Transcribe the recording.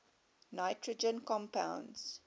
nitrogen compounds